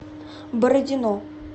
бородино